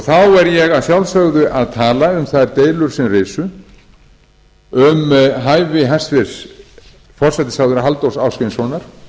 þá er ég að sjálfsögðu að tala um þær deilur sem risu um hæfi hæstvirtur forsætisráðherra halldórs ásgrímssonar